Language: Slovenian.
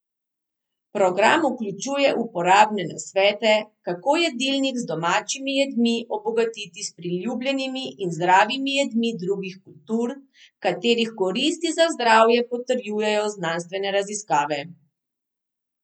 Program vključuje uporabne nasvete, kako jedilnik z domačimi jedmi obogatiti s priljubljenimi in zdravimi jedmi drugih kultur, katerih koristi za zdravje potrjujejo znanstvene raziskave.